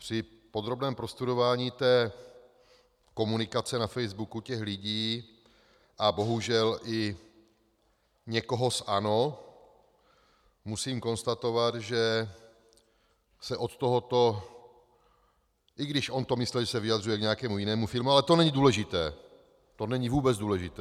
Při podrobném prostudování té komunikace na facebooku těch lidí a bohužel i někoho z ANO musím konstatovat, že se od tohoto, i když on to myslel, že se vyjadřuje k nějakému jinému filmu, ale to není důležité, to není vůbec důležité.